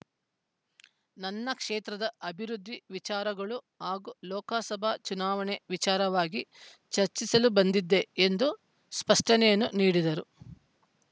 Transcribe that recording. ನನ್ನ ಕ್ಷೇತ್ರದ ಅಭಿವೃದ್ಧಿ ವಿಚಾರಗಳು ಹಾಗೂ ಲೋಕಸಭಾ ಚುನಾವಣೆ ವಿಚಾರವಾಗಿ ಚರ್ಚಿಸಲು ಬಂದಿದ್ದೆ ಎಂದು ಸ್ಪಷ್ಟನೆಯನ್ನೂ ನೀಡಿದರು